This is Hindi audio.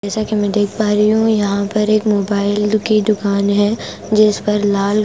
जैसा कि मैं देख पा रही हूं यहां पर एक मोबाइल की दुकान है जिस पर लाल --